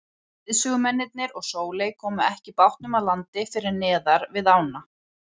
Leiðsögumennirnir og Sóley komu ekki bátnum að landi fyrr en neðar við ána.